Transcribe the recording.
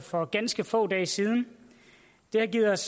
for ganske få dage siden det har givet os